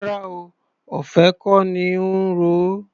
Rárá o, ọ̀fẹ́ kọ́ ní í ro o.